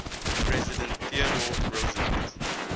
president theodore roosevelt